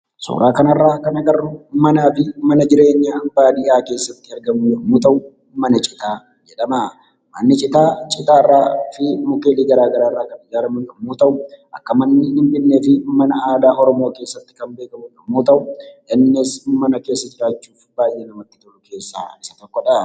Suuraa kana irraa kan agarru manaafi mana jireenyaa baadiyaa keessatti argamu yemmuu ta'u, mana citaa jedhama. Manni citaa citaafi mukkeelii gara garaa irraa kan ijaaramu yemmuu ta'u, akka manneen hinjigneefi mana aadaa Oromoo keessatti kan beekamu yemmuu ta'u, innis mana keessa jiraachuuf namatti tolu keessaa isa tokkodha.